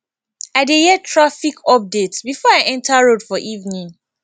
i dey hear traffic updates before i enta road for evening